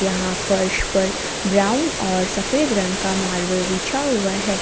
यहां फर्श पर ब्राउन और सफेद रंग मार्बल बिछा हुआ है।